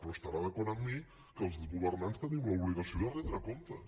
però estarà d’acord amb mi que els governants tenim l’obligació de retre comptes